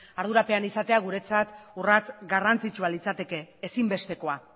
ardurapean izatea guretzat urrats garrantzitsua litzateke ezinbestekoa